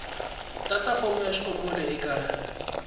tata fomo ya xikombelo eka